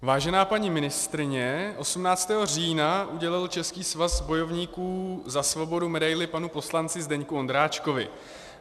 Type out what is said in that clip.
Vážená paní ministryně, 18. října udělil Český svaz bojovníků za svobodu medaili panu poslanci Zdeňku Ondráčkovi.